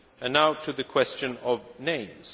Now to the question of